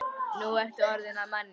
Nú ertu orðinn að manni.